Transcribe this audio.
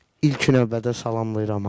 İlkin növbədə salamlayıram hamını.